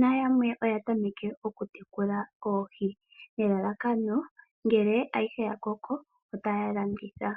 nayamwe oya tameke okutekula oohi, nelalakano ngele ayihe ya koko otaya landitha.